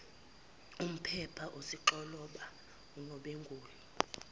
umpepha usixoloba unombengula